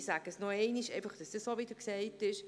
Ich sage es noch einmal, damit es auch wieder gesagt ist: